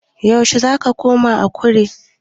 Yaushe zaka koma Akure?